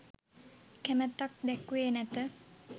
කැමැත්තක් දැක්වූයේ නැත